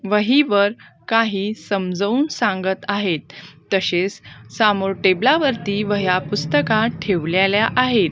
वहीवर काही समजावून सांगत आहेत तसेच सामोर टेबलावरती वह्या पुस्तका ठेवलेल्या आहेत.